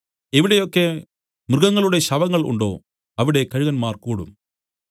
എവിടെയൊക്കെ മൃഗങ്ങളുടെ ശവങ്ങൾ ഉണ്ടോ അവിടെ കഴുകന്മാർ കൂടും